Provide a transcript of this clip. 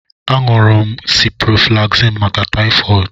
A na m aṅụ ciprofloxacin maka taifod